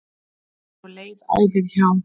Svo leið æðið hjá.